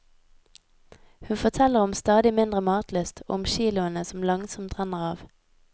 Hun forteller om stadig mindre matlyst og om kiloene som langsomt renner av.